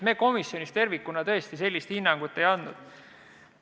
Me komisjonis tervikuna tõesti sellist hinnangut ei andnud.